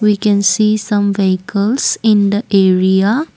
we can see some vehicles in the area.